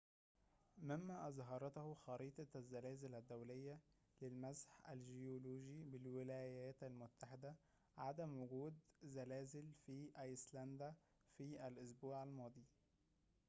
مما أظهرته خريطة الزلازل الدولية للمسح الجيولوجي بالولايات المتحدة عدم وجود زلازل في أيسلندا في الأسبوع الماضي